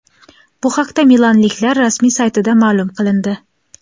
Bu haqda milanliklar rasmiy saytida ma’lum qilindi .